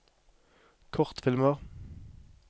kortfilmer